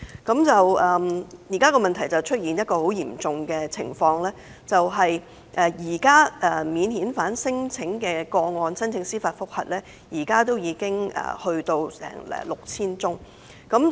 現時已出現一種很嚴重的情況，就是免遣返聲請個案的司法覆核申請已經高達 6,000 宗。